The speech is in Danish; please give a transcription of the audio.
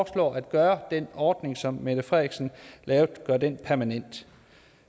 at gøre den ordning som mette frederiksen lavede permanent